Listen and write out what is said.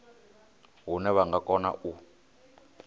hune vha nga kona u